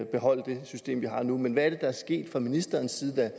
beholde det system vi har nu men hvad er set fra ministerens side er